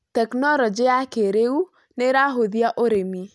Tekinolonjĩ ya kĩrĩu nĩ ĩrahũthia ũrĩmi.